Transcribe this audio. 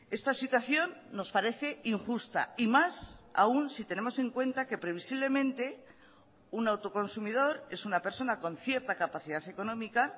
esta situación nos parece injusta y más aún si tenemos en cuenta que previsiblemente un autoconsumidor es una persona con cierta capacidad económica